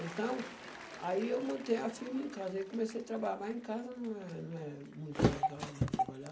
Então, aí eu montei a firma em casa, aí comecei a trabalhar, mas em casa não é não é muito legal, né, trabalhar.